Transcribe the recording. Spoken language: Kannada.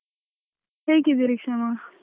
ಹೇಗಿದ್ದೀರಿ ಕ್ಷಮಾ?